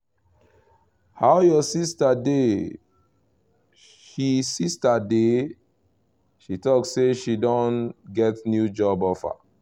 how your sister dey? she sister dey? she talk say she don get new job offer